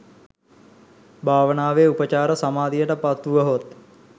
භාවනාවේ උපචාර සමාධියට පත් වුවහොත්,